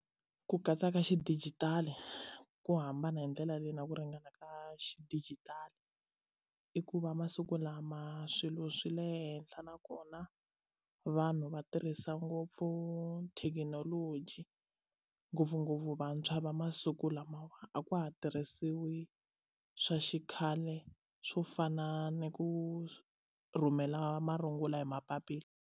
Ku katsa ka xidigitali ku hambana hi ndlela leyi na ku ringana ka xidijitali i ku va masiku lama swilo swi le henhla nakona vanhu va tirhisa ngopfu thekinoloji ngopfungopfu vantshwa va masiku lamawa a ka ha tirhisiwi swa xikhale swo fana ni ku rhumela marungula hi mapapila.